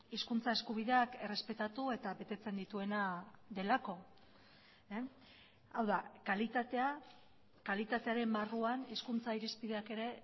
hizkuntza eskubideak errespetatu eta betetzen dituena delako hau da kalitatea kalitatearen barruan hizkuntza irizpideak ere